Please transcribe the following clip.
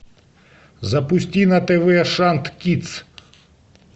запусти на тв шант кидс